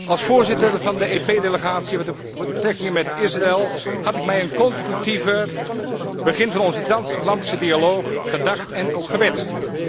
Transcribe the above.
Als voorzitter van de EP delegatie voor de betrekkingen met Israël had ik mij een constructiever begin van onze transatlantische dialoog gedacht en ook gewenst.